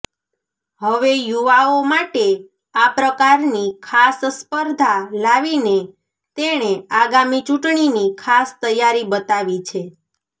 હવે યુવાઓ માટે આ પ્રકારની ખાસ સ્પર્ધા લાવીને તેણે આગામી ચૂંટણીની ખાસ તૈયારી બતાવી છે